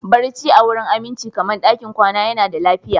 Barci a wurin aminci kamar ɗakin kwana yana da lafiya